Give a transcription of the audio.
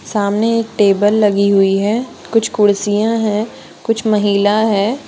सामने एक टेबल लगी हुई है कुछ कुर्सियां हैं कुछ महिला है।